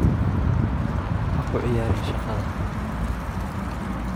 Ha ku ciyaarin shaqada.